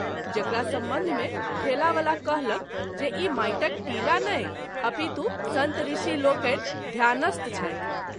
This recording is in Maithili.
जकरा संबंध मे ठेला वला कहलक जे ई माटिक टीला नहि अपितु संत ऋषि लोकनि ध्यानस्थ छथि।